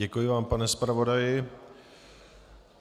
Děkuji vám, pane zpravodaji.